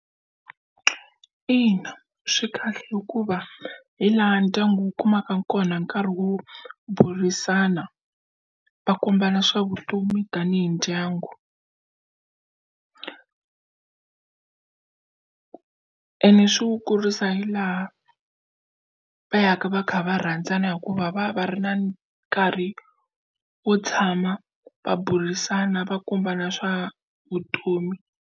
Ina swi kahle hikuva hi laha ndyangu wu kumaka kona nkarhi wo burisana va kombana swa vutomi tanihi ndyangu ene swi wu kurisa hi laha va ya ka va kha va rhandzana hikuva va va ri na nkarhi wo tshama va burisana va kombisana swa vutomi.